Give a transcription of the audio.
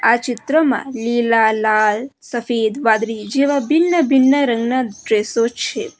આ ચિત્રમાં લીલા લાલ સફેદ વાદળી જેવા ભિન્ન ભિન્ન રંગના ડ્રેસો છે.